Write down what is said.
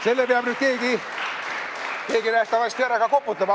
Selle peab nüüd keegi nähtavasti ära ka koputama.